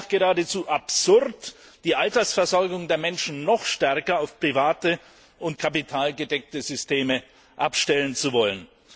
Es wäre nachgerade absurd, die Altersversorgung der Menschen noch stärker auf private und kapitalgedeckte Systeme abstellen zu wollen.